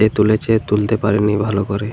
যে তুলেছে তুলতে পারেনি ভালো করে।